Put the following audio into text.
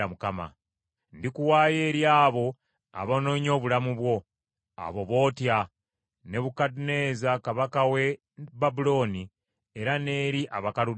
“Ndikuwaayo eri abo abanoonya obulamu bwo, abo bootya, Nebukadduneeza kabaka w’e Babulooni era n’eri Abakaludaaya.